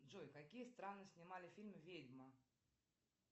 джой какие страны снимали фильм ведьма